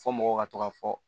Fɔ mɔgɔw ka to ka fɔ